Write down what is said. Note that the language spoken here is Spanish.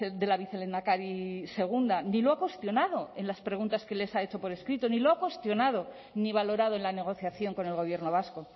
de la vicelehendakari segunda ni lo ha cuestionado en las preguntas que les ha hecho por escrito ni lo ha cuestionado ni valorado en la negociación con el gobierno vasco